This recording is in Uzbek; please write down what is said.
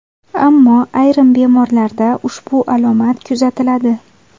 Ammo ayrim bemorlarda ushbu alomat kuzatiladi.